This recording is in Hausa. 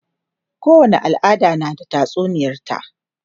kowani al'ada na da tatsuniyar ta